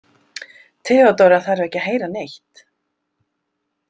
Theodóra þarf ekki að heyra neitt.